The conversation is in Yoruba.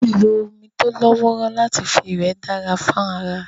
Lílo omi tó lọ́wọ́rọ́ láti fi wẹ̀ dára fún ara